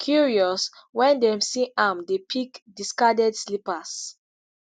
curious wen dem see am dey pick discarded slippers.